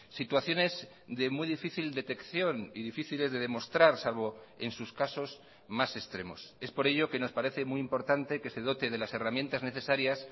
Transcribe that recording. situaciones de muy difícil detección y difíciles de demostrar salvo en sus casos más extremos es por ello que nos parece muy importante que se dote de las herramientas necesarias